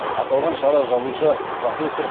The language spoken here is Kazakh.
аталған шара жазушы профессор